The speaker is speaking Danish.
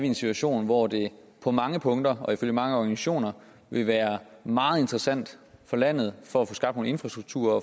en situation hvor det på mange punkter og ifølge mange organisationer vil være meget interessant for landet for at få skabt noget infrastruktur og